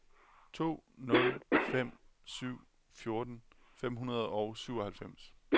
to nul fem syv fjorten fem hundrede og syvoghalvfems